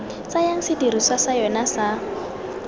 tsayang sedirisiwa sa yona sa